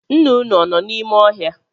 Nna unu, ọ nọ n’ime ọhịa?